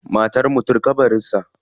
Matar mutum kabarin sa.